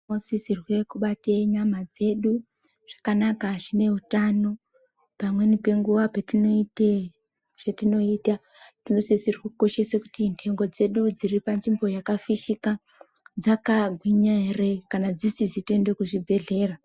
Sisirwe kubate nyama dzedu zvakanaka zvine utano pamweni penguwa petinoite zvetinoita tinosisirwe kukoshese kuti ntengo dzedu dziri panzvimbo yakafishika dzakagwinya ere kana dzisiszi toende kuchibhedhlera.